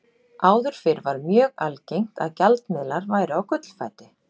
Áður fyrr var mjög algengt að gjaldmiðlar væru á gullfæti.